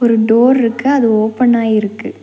ஒரு டோர்ருக்கு அது ஓப்பனா இருக்கு.